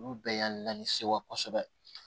Olu bɛɛ y'an na ni sewa kosɛbɛ